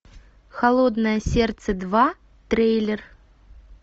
холодное сердце два трейлер